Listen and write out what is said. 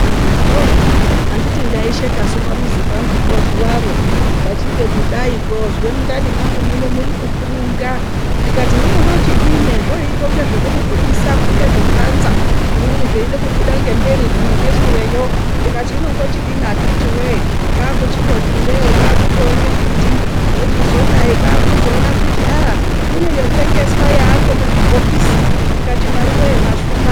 Anditi ndaishekasu pamuzi pangu zuvaro. Ndachide kudaiko. Kuzwa mundani mangu muri kukurunga. Ndikati hino ndochidini zvazvakuita senge zvoda kubudisa. Zvoda kupanza. Zvimweni zveida kubuda ngemberi, zvimwe ngesureyo. Ndikati hino ndochidii akiti woye. kwakuchingoti ndee. kwakuona mbiti ndochizodai. kwakuchiona kuti kune mitombo yotengeswa yemuzvibhokisi. Ndikati Mwariiwe mwashuma.